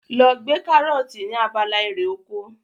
Lọ gbé karọ́ọ̀tì ní abala erè oko.